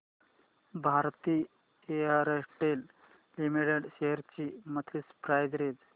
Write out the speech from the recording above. Bharti Airtel limited shares ची monthly price range